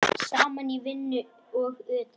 Saman í vinnu og utan.